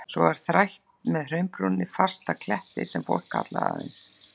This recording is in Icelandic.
Svo var þrætt með hraunbrúninni fast upp að kletti, sem fólk kallaði aðeins